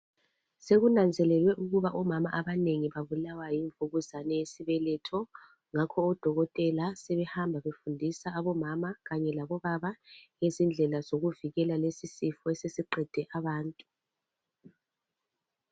Sekunanzelelwe ukuba omama abanengi babulawa yimvukuzane yesibeletho ngakho odokotela sebehamba befundisa abomama kanye labobaba ngezindlela zokuvikela lesi sifo esesiqede abantu.